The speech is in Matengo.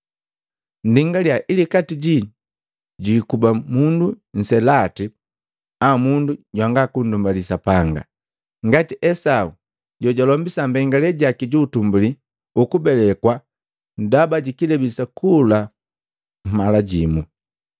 Nndingalia ili kati jii jwi ikuba mundu nselati au mundu jwanga kunndumbali Sapanga ngati Esau jojalombisa mbengale jaki ju utumbuli ukubelekwa ndaba ji kilebi sakula nunkamu.